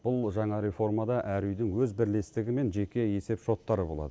бұл жаңа реформада әр үйдің өз бірлестігі мен жеке есепшоттары болады